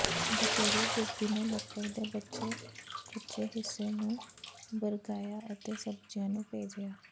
ਬਟੇਰੇ ਗੋਭੀ ਨੇ ਲੱਕੜ ਦੇ ਬਚੇ ਖੁਚੇ ਹਿੱਸੇ ਨੂੰ ਬਰਗਾਇਆ ਅਤੇ ਸਬਜ਼ੀਆਂ ਨੂੰ ਭੇਜਿਆ